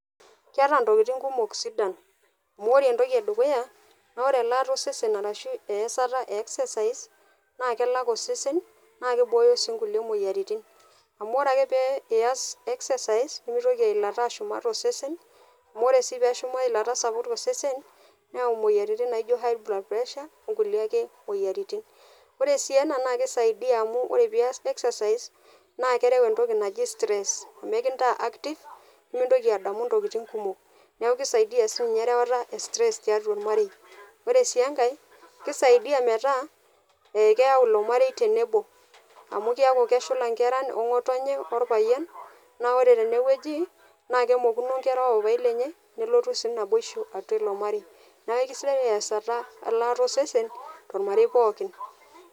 Keeta ntokitin kumok sidan amu ore entoki e dukuya naa ore elaata osesen arashu easata e exercise, naake elak osesen naake ibooyo sii nkuie moyiaritin amu ore ake pee iyas exercise, nemitoki eilata ashuma tp sesen amu ore sii peeshua eilata sapuk to sesen neyau moyiaritin naijo high blood pressure o nkulie ake moyiaritin. Ore sii ena naake isaidia amu ore peeias exercise, naake ereu entoki naji stress nekintaa active nemintoki adamu ntokitin kumok, neeku kisaidia sii nye erewata e stress tiatua ormarei. Ore sii enkae kisaidia metaa e keyau ilo maei tenebo amu keyaku keshula nkera o ng'otonye, orpayian naa ore tene wueji naake emokuno nkera o papai lenye neleotu sii naboishu atua ilo marei. Neeku kesidai easata elataa osesen tormarei pookin.